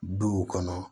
Duw kɔnɔ